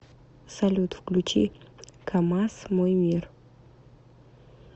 салют включи камазз мой мир